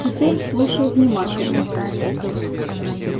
теперь слушай внимательно